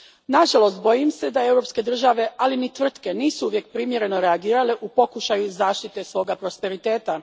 Nažalost, bojim se da europske države, ali ni tvrtke, nisu uvijek primjereno reagirale u pokušaju zaštite svog prosperiteta.